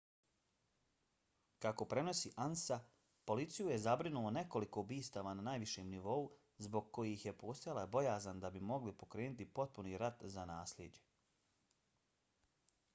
kako prenosi ansa policiju je zabrinulo nekoliko ubistava na najvišem nivou zbog kojih je postojala bojazan da bi mogli pokrenuti potpuni rat za naslijeđe